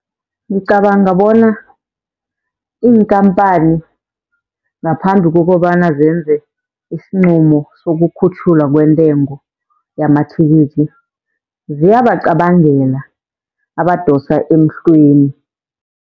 Ngicabanga bona iinkhampani ngaphambi kokobana zenze isinqumo sokukhutjhulwa kwentengo yamathikithi, ziyabacabangela abadosa emhlweni.